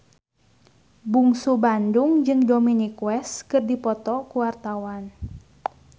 Bungsu Bandung jeung Dominic West keur dipoto ku wartawan